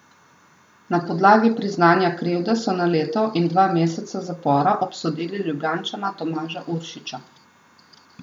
Na podlagi priznanja krivde so na leto in dva meseca zapora obsodili Ljubljančana Tomaža Uršiča.